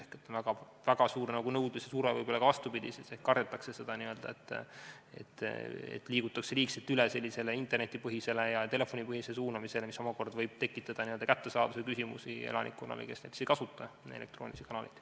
Ehk on väga suur nõudlus, aga võib-olla ka vastupidi, st kardetakse seda, et liigutakse liigselt üle interneti- ja telefonipõhisele suunamisele, mis omakorda võib tekitada kättesaadavuse küsimusi elanikkonnale, kes ei kasuta elektroonilisi kanaleid.